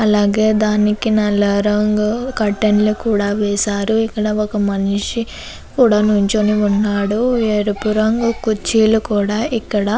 అలాగే దానికి నల్ల రంగు కర్టైన్ల్ కూడా వేశారు ఇక్కడ ఒక మనిషి కూడా నిల్చొని ఉన్నాడు అలాగే ఎరుపు రంగు కుర్చీలు కూడా ఇక్కడ --